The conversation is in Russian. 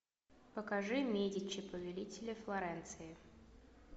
покажи медичи повелители флоренции